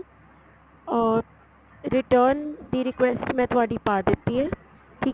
ਅਹ return ਦੀ request ਮੈਂ ਤੁਹਾਡੀ ਪਾ ਦਿੱਤੀ ਏ ਠੀਕ